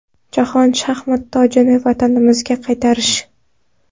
Jahon shaxmat tojini vatanimizga qaytarish.